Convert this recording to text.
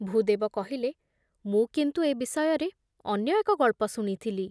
ଭୂଦେବ କହିଲେ, ମୁଁ କିନ୍ତୁ ଏ ବିଷୟରେ ଅନ୍ୟ ଏକ ଗଳ୍ପ ଶୁଣିଥିଲି ।